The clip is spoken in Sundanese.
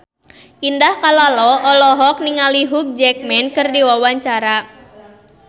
Indah Kalalo olohok ningali Hugh Jackman keur diwawancara